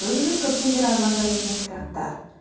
өзіңіз көптен бері армандап жүрген кітаптар